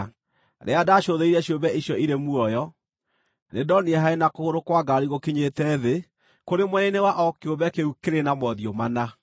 Rĩrĩa ndacũthĩrĩirie ciũmbe icio irĩ muoyo, nĩndonire harĩ na kũgũrũ kwa ngaari gũkinyĩte thĩ kũrĩ mwena-inĩ wa o kĩũmbe kĩu kĩrĩ na mothiũ mana.